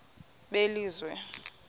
belizwe